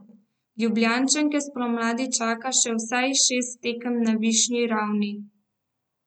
Ljubljančanke spomladi čaka še vsaj šest tekem na najvišji ravni.